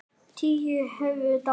Tíu höfðu dáið.